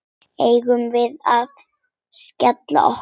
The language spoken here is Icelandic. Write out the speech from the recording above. Eigum við að skella okkur?